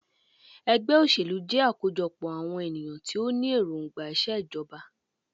Ẹgbẹ́ òṣèlú jẹ́ àkójọpọ̀ àwọn ènìyàn tí o ní èròngbà ìṣèjọba.